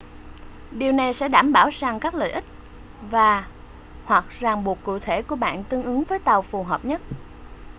điều này sẽ đảm bảo rằng các lợi ích và/hoặc ràng buộc cụ thể của bạn tương ứng với tàu phù hợp nhất